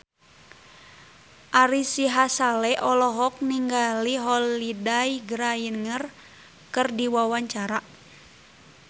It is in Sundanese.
Ari Sihasale olohok ningali Holliday Grainger keur diwawancara